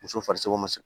Muso farisogo ma